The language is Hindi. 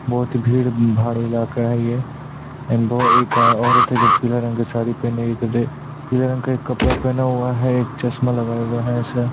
बहुत ही भीड़-भाड़ इलाका है ये एंड भो एक औरत है जो पीला रंग की साड़ी पहनी हुए पीला रंग का कपड़ा पहना हुआ एक चश्मा लगाए हुए है ऐसा--